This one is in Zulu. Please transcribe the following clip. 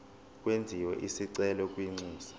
kwenziwe isicelo kwinxusa